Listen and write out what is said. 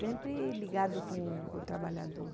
Sempre ligado com o trabalhador.